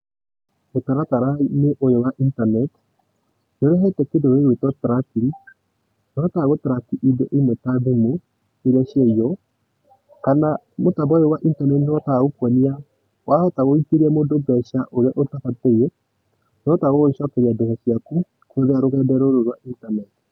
Mũtarataraĩnĩ ũyũ wa internet nĩ ũrehete kĩndũ gĩgũĩtũo tracking. Nĩ tũhotaga gũ track indũ ĩmwe ta thimu iria ciaiywo kana mũtambo ũyũ wa internet nĩ ũhũtaga gũkũonia wahota gũikĩrĩa mũndũ mbeca ũrĩa ũtabatĩĩ, nĩ ũhotaga gũgũcokerĩa mbeca cĩaku kũrĩa rũgendo rũrũ rwa internet.